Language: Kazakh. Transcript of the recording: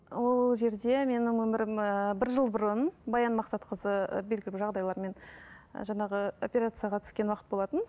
ол жерде менің өмірім ііі бір жыл бұрын баян мақсатқызы белгілі бір жағдайлармен жаңағы операцияға түскен уақыт болатын